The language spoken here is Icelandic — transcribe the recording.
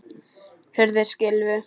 Hurðir skylfu.